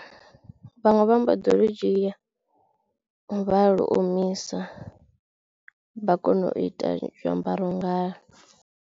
Vhaṅwe vha mbo ḓi lu dzhia vha lu omisa vha kono u ita zwiambaro ngalwo.